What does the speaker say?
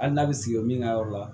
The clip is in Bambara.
Hali n'a bɛ sigi o min ka yɔrɔ la